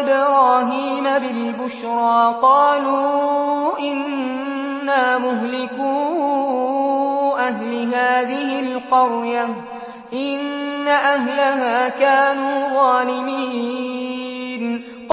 إِبْرَاهِيمَ بِالْبُشْرَىٰ قَالُوا إِنَّا مُهْلِكُو أَهْلِ هَٰذِهِ الْقَرْيَةِ ۖ إِنَّ أَهْلَهَا كَانُوا ظَالِمِينَ